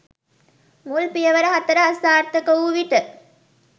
මුල් පියවර 04 අසාර්ථක වූ විට